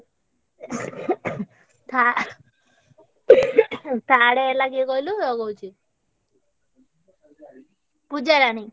ଥା third ହେଲା କିଏ କହିଲୁ ରହ କହୁଛି ପୂଜା ରାଣୀ।